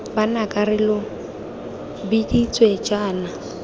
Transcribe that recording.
banaka re lo biditse jaana